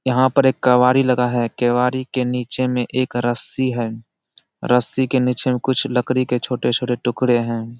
यहाँ पर एक केवारी लगा है। केवारी के नीचे में एक रस्सी है। रस्सी के नीचे में कुछ लकड़ी के छोटे-छोटे टुकड़े हैं।